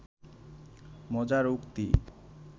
মজার উক্তি